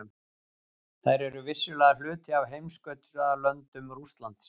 Þær eru vissulega hluti af heimskautalöndum Rússlands.